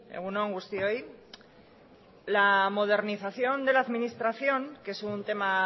egun on guztioi la modernización de la administración que es un tema